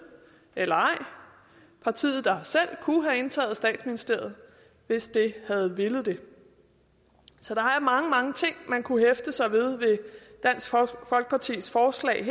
eller ej partiet der selv kunne have indtaget statsministeriet hvis det havde villet det så der er mange mange ting man kunne hæfte sig ved ved dansk folkepartis forslag